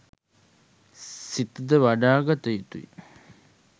සිත ද වඩාගත යුතුය.